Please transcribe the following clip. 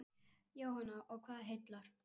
Jóhanna: Og hvað heillar?